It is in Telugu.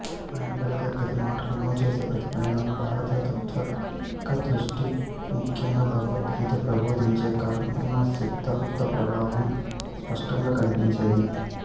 ఆయన పలికే ప్రతి మాటలోనూ చేసే ప్రతి పనిలోనూ భారతీయ తాత్వికదృష్టి ముఖ్యంగా భగవద్గీత ప్రబోధించే కర్మసిద్ధాంతప్రభావం స్పష్టంగా కనిపించేది